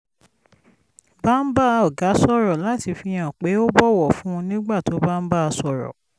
bá ń bá ọ̀gá sọ̀rọ̀ láti fi hàn pé ó bọ̀wọ̀ fún un nígbà tó bá ń bá a sọ̀rọ̀